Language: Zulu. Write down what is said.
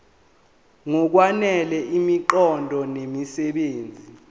ngokwanele imiqondo nemisebenzi